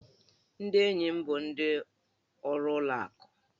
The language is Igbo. Ndị enyi m bụ ndị ọrụ ụlọ akụ